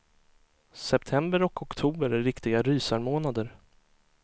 September och oktober är riktiga rysarmånader.